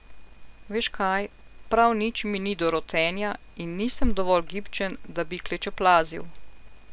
Veš kaj, prav nič mi ni do rotenja in nisem dovolj gibčen, da bi klečeplazil.